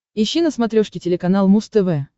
ищи на смотрешке телеканал муз тв